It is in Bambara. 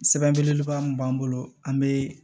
Sɛbɛn belebeleba min b'an bolo an bɛ